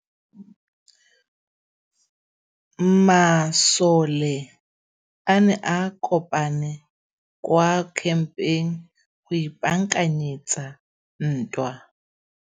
Masole a ne a kopane kwa kampeng go ipaakanyetsa ntwa.